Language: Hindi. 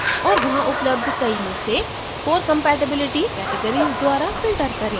और वहाँ उपलब्ध कई में से core compatibilitycategories द्वारा filter करें